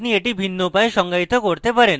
আপনি class methods ভিন্ন উপায়ে সঙ্গায়িত করতে পারেন